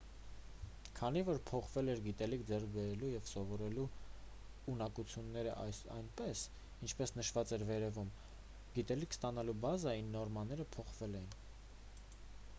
քանի որ փոխվել էր գիտելիք ձեռք բերելու և սովորելու ունակություններn այնպես ինչպես նշված էր վերևում գիտելիք ստանալու բազային նորմաները փոխվել էին: